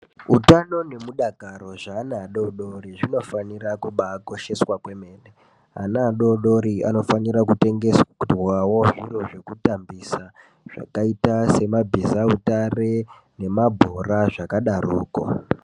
Utano nemudakaro zveana adododri zvinofanira kubaakosha kwemene ana adodorianofanira kutengerwawo zvekutambisa zvakaitaa semabhiza utare nemabhora zvakadarokwo.